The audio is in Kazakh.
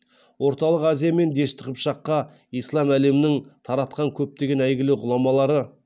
орталық азия мен дешті қыпшаққа ислам әлемін таратқан көптеген әйгілі ғұламалары